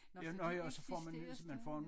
Nå så de eksisterer stadigvæk